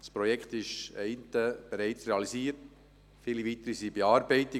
Das eine Projekt ist bereits realisiert, viele weitere sind in Bearbeitung.